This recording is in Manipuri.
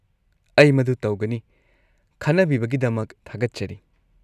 -ꯑꯩ ꯃꯗꯨ ꯇꯧꯒꯅꯤ, ꯈꯟꯅꯕꯤꯕꯒꯤꯗꯃꯛ ꯊꯥꯒꯠꯆꯔꯤ!